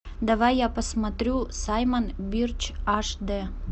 давай я посмотрю саймон бирч аш д